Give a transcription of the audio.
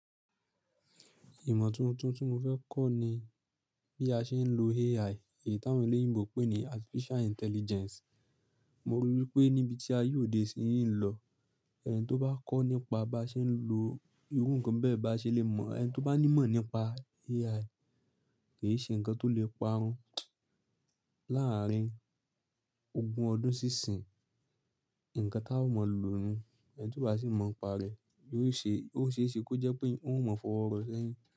Ìmọ̀ tuntun tí mo fẹ́ kọ̀ ni bí a ṣe ń lo AI, èyí táwọn èlé ìbò pè ní Artificial Intelligence. Mo rò wípé níbi tí a yóò dé síyín lọ, ẹni tó bá kọ́ nípa bí a ṣe ń lo irú ǹkan bẹ́ẹ̀ bá ṣe le mọ̀, ẹni tó bá ní ìmọ̀ nípa AI kì í ṣe ǹkan tó lè parun. Láàárín ogún ọdún sí ìsín, ǹkan tá a ò mọ̀ lo nu, ẹni tí ó bá sì mọ̀ ń pa rẹ̀, yóò ṣe, ó ṣe é ṣe kó jẹ́ pé òun mọ̀ fọ̀rọ̀ rọ̀ sẹ́yìn.